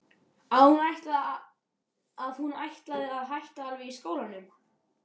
Að hún ætlaði að hætta alveg í skólanum.